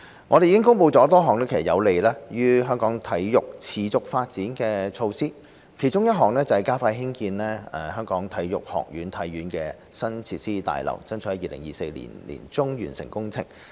我們已公布多項有利於香港體育持續發展的措施，其中一項是加快興建香港體育學院的新設施大樓，爭取在2024年年中完成工程。